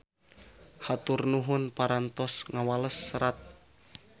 Hatur nuhun parantos ngawales serat.